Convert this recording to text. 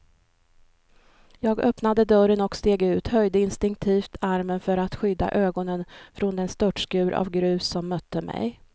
Jag öppnade dörren och steg ut, höjde instinktivt armen för att skydda ögonen från den störtskur av grus som mötte mig.